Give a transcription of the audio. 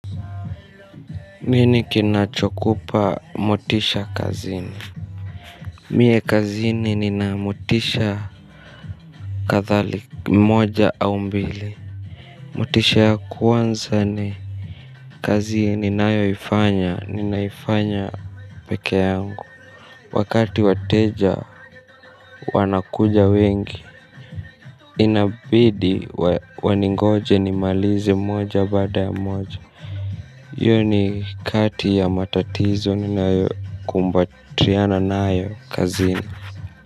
Nini kinachokupa motisha kazini? Mie kazini nina motisha kathali moja au mbili. Motisha ya kwanza ni kazi ninayoifanya ninaifanya peke yangu. Wakati wateja wanakuja wengi inabidi waningoje nimalize moja bada ya moja. Hiyo ni kati ya matatizo ninayokumbatiana nayo kazini.